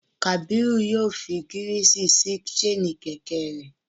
Kabiru yoo fi girisi si ṣaini kẹ̀kẹ́ rẹ